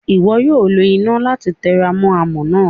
Iwọ yoo lo ina lati teramo amọ naa.